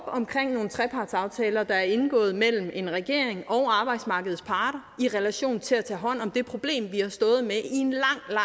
omkring nogle trepartsaftaler der er indgået mellem en regering og arbejdsmarkedets parter i relation til at tage hånd om det problem vi har stået med i en